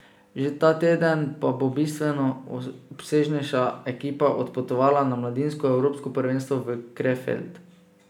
Že ta teden pa bo bistveno obsežnejša ekipa odpotovala na mladinsko evropsko prvenstvo v Krefeld.